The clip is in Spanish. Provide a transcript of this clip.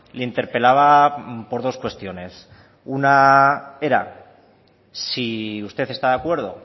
le interpelaba por dos cuestiones una era si usted está de acuerdo